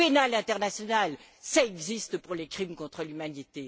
La Cour pénale internationale, ça existe pour les crimes contre l'humanité.